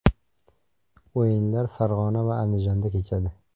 O‘yinlar Farg‘ona va Andijonda kechadi.